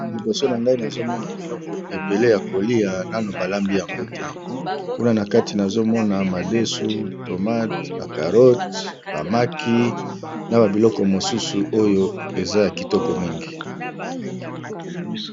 Liboso na ngai nazomona biloko ebele ya kolia nano balambi yango te kuna na kati nazomona madesu, tomate, bacarote, bamaki na ba biloko mosusu oyo eza ya kitoko mingi.